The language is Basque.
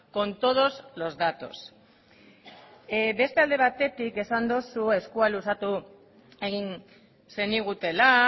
con todos los datos beste alde batetik esan duzu eskua luzatu egin zenigutela